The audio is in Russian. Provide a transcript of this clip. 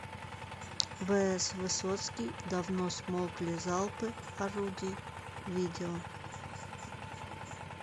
вс высоцкий давно смолкли залпы орудий видео